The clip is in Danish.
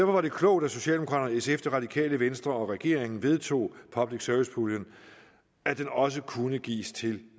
var det klogt at socialdemokraterne sf det radikale venstre regeringen vedtog at public service puljen også kunne gives til